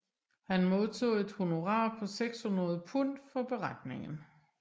Han modtog et honorar på 600 pund for beretningen